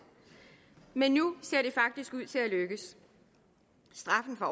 men nu ser det faktisk ud til at lykkes straffen for